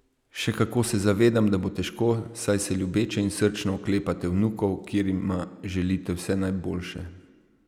Še kako se zavedam, da bo težko, saj se ljubeče in srčno oklepate vnukov, ker jima želite vse najboljše.